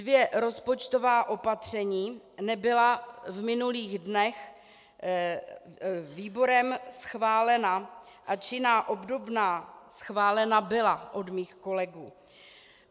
Dvě rozpočtová opatření nebyla v minulých dnech výborem schválena, ač jiná obdobná schválena byla od mých kolegů.